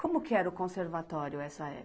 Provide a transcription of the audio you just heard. Como que era o conservatório essa